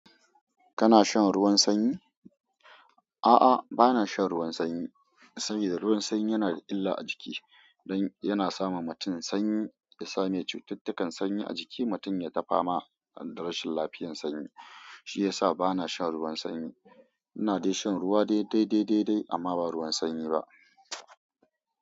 Kana shan ruwan sanyi? A'a, bana shan ruwan sanyi. Saboda ruwan sanyi yana da illa a jiki don yana sama mutum sanyi, ya sa mai cututtukan sanyi a jiki. Mutum yata fama darasin lafiyan sanyi. Shi ya sa bana shan ruwan sanyi. Ina dai shan ruwa dai dai dai dai dai amma ba ruwan sanyi ba.